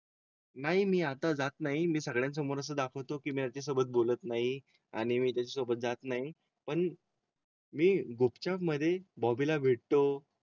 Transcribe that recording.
नाही मी आता जात नाही. सगळ्यां समोरच दाखवतो की माझ्या सोबत बोलत नाही आणि मी त्याच्या सोबत जात नाही पण. मी गुपचाप मध्ये बॉबी ला भेटतो.